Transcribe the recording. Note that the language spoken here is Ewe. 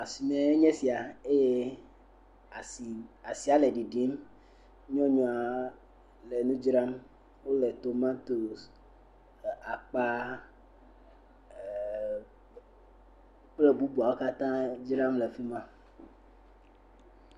Asime enye esia, eye asia le ɖiɖim, nyɔnua le nu dzram, ele tomatos, akpa kple nu bubuawo katãa dzram le afi ma.